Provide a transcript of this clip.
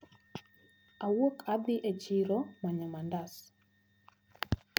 Awuok adhi e chiro manyo mandas.